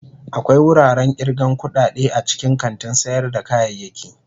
Akwai wuraren irgan kudade a cikin kantin sayar da kayayyaki.